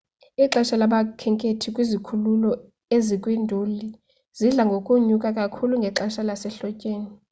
ixesha labakhenkethi kwizikhululo ezikwiinduli lidla ngokunyuka kakhulu ngexesha lasehlotyeni